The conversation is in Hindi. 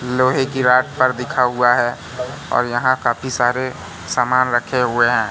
लोहे की रॉड पर लिखा हुआ है और यहां काफी सारे सामान रखे हुए हैं।